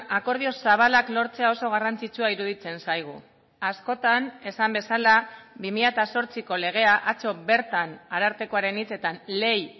akordio zabalak lortzea oso garrantzitsua iruditzen zaigu askotan esan bezala bi mila zortziko legea atzo bertan arartekoaren hitzetan ley